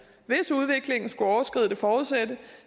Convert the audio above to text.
udviklingen skulle overskride det forudsatte